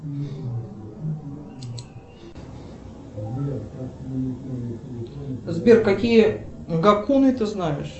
сбер какие гакуны ты знаешь